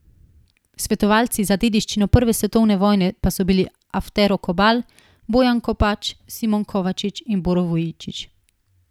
Svetovalci za dediščino prve svetovne vojne pa so bili Aftero Kobal, Bojan Kopač, Simon Kovačič in Boro Vujičić.